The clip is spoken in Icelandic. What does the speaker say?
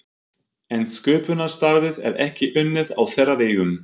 En sköpunarstarfið er ekki unnið á þeirra vegum.